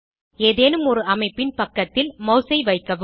ஏதேனும் ஒரு அமைப்பின் பக்கதில் மாஸ் ஐ வைக்கவும்